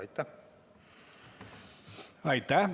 Aitäh!